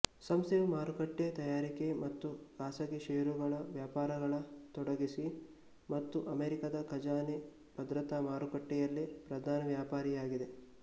ಸಂಸ್ಥೆಯು ಮಾರುಕಟ್ಟೆ ತಯಾರಿಕೆ ಮತ್ತು ಖಾಸಗಿ ಷೇರುಗಳು ವ್ಯವಹಾರಗಳ ತೊಡಗಿಸಿ ಮತ್ತು ಅಮೇರಿಕಾದ ಖಜಾನೆ ಭದ್ರತಾ ಮಾರುಕಟ್ಟೆಯಲ್ಲಿ ಪ್ರಧಾನ ವ್ಯಾಪಾರಿಯಾಗಿದೆ